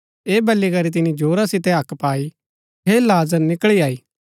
ऐह बली करी तिनी जोरा सितै हक्क पाई हे लाजर निकळी आई